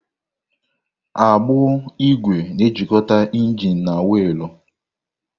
Agbụ ígwè na-ejikọta injin na wiilu.